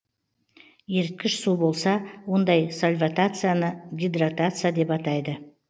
еріткіш су болса ондай сольватацияны гидратация деп атайды